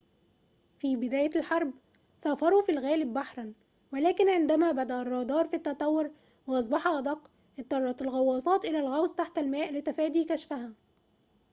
في بداية الحرب سافروا في الغالب بحرًا ولكن عندما بدأ الرادار في التطور وأصبح أدق اضطرت الغواصات إلى الغوص تحت الماء لتفادي كشفها